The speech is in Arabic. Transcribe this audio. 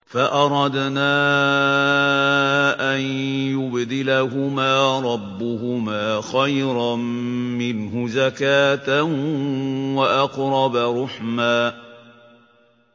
فَأَرَدْنَا أَن يُبْدِلَهُمَا رَبُّهُمَا خَيْرًا مِّنْهُ زَكَاةً وَأَقْرَبَ رُحْمًا